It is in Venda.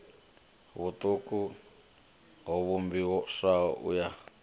vhuṱuku ho vhumbiwaho u ya